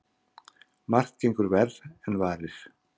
Margt gengur verr en varir.